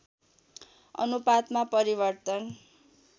अनुपातमा परिवर्तन